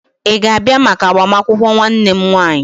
Ị ga-abịa maka agbamakwụkwọ nwanne m nwanyị?